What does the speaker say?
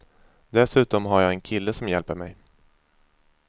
Dessutom har jag en kille som hjälper mig.